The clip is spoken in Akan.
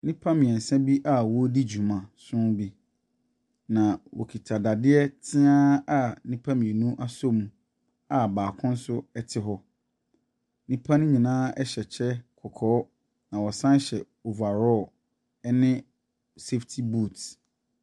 Nnipa mmiɛnsa bi a wɔredi dwuamaso bi. Na wɔkita dadeɛ tea a nnipa mmienu asɔ mu a baako nso ɛte hɔ. Nnipa no nyinaa hyɛ kyɛ kɔkɔɔ. Na wɔsan hyɛ overall ne safty boot.